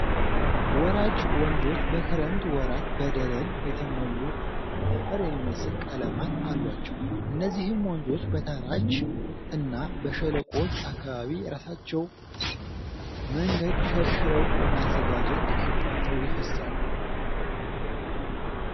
ወራጅ ወንዞች በክረምት ወራት በደለል የተሞሉ እና አፈር የሚመስ ቀለማት አሏቸው። እነዚህም ወንዞ በተራች እና በሸለቆች አካባቢ የራሳቸውን መንገድ ሸርሽረው በማዘጋጀት አቋርጠው ይፈሳሉ።